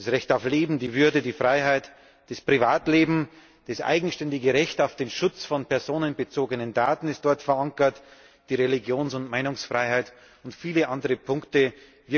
Das Recht auf Leben, die Würde, die Freiheit, das Privatleben, das eigenständige Recht auf den Schutz von personenbezogenen Daten ist dort verankert, die Religions und Meinungsfreiheit und viele andere Punkte mehr.